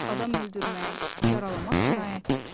Adam öldürmək, yaralamaq cinayətdir.